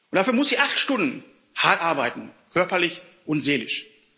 Dafür muss sie acht Stunden hart arbeiten, körperlich und seelisch.